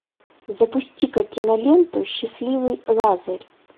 запусти ка киноленту счастливый лазарь